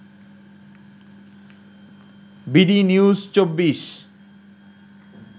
B D news ২৪